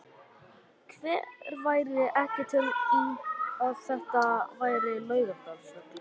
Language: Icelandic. Hver væri ekki til í að þetta væri Laugardalsvöllur?